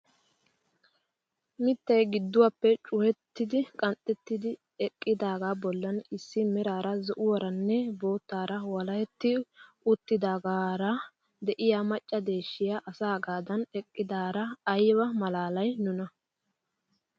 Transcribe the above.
Mittay gidduwaappe cukettidi qanxxettidi eqqidaagaa bollan issi meraara zo'uwaaranne boottaara walahetti uttidogaara de'iyaa macca deeshshiyaa asaagadan eqqidaara ayba malaalay nuna!